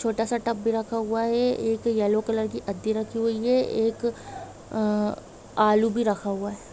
छोटा सा टब भी रखा हुआ है एक येलो कलर की आदी रखी हुई है एक आ आलू भी रखा हुआ है।